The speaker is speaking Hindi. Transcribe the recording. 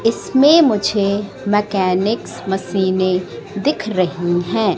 इसमें मुझे मैकेनिक्स मशीनें दिख रही हैं।